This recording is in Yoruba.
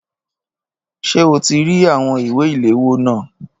Ṣé o ti rí àwọn ìwé ìléwọ́ náà?